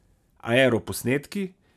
Aeroposnetki!